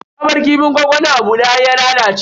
Ta bar kifin gwangwamin a bude har ya lalace.